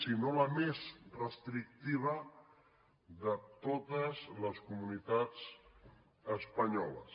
si no la més restrictiva de les de totes les comunitats espanyoles